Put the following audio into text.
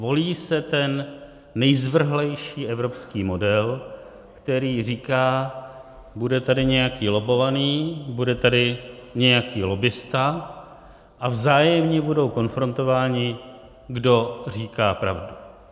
Volí se ten nejzvrhlejší evropský model, který říká, bude tady nějaký lobbovaný, bude tady nějaký lobbista a vzájemně budou konfrontováni, kdo říká pravdu.